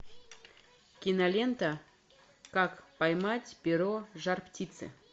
кинолента как поймать перо жар птицы